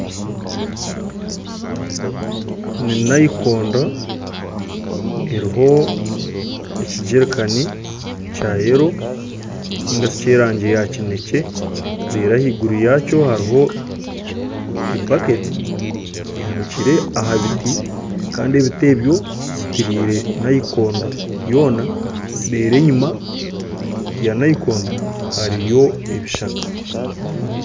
Ni naikondo eriho ekijerikani kya yero ninga shi eky'erangi ya kinekye. Reero ahaiguru yaakyo hariho ebaketi ehanikire aha biti, kandi ebiti ebyo bizitiriire naikondo yoona. Reero enyima ya naikondo hariyo ebishaka.